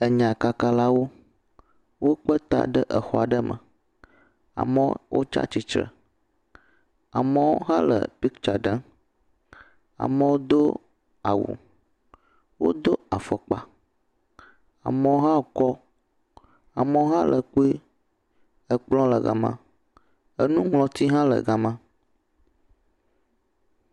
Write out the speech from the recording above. Enyakakalawo. Wokpe ta ɖe exɔ aɖe me. Amewo wotsa tsitsre. Amewo hã le piktsa ɖem. Amewo do awu. Wodo afɔkpa. Amewo hã kɔ. Amewo hã le kpue. Ekplɔ̃ le gama. Enuŋlɔti hã le gama.